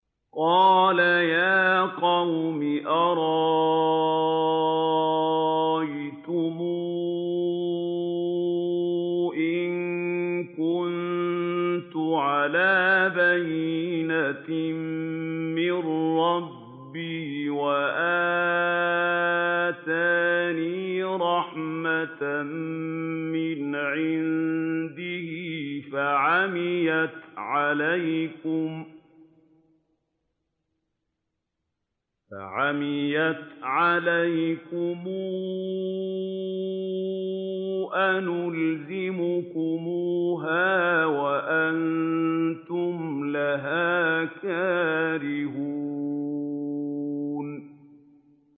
قَالَ يَا قَوْمِ أَرَأَيْتُمْ إِن كُنتُ عَلَىٰ بَيِّنَةٍ مِّن رَّبِّي وَآتَانِي رَحْمَةً مِّنْ عِندِهِ فَعُمِّيَتْ عَلَيْكُمْ أَنُلْزِمُكُمُوهَا وَأَنتُمْ لَهَا كَارِهُونَ